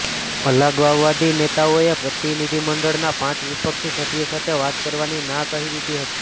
અલગાવવાદી નેતાઓએ પ્રતિનિધિમંડળના પાંચ વિપક્ષી સભ્યો સાથે વાત કરવાની ના કહી દીધી હતી